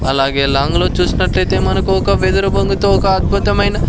అలాగే లాంగ్ లో చూసినట్లయితే మనకు ఒక వెదురు బొంగుతో ఒక అద్భుతమైన--